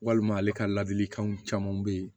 Walima ale ka ladilikanw caman bɛ yen